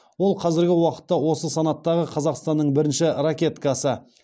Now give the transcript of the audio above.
ол қазіргі уақытта осы санаттағы қазақстанның бірінші ракеткасы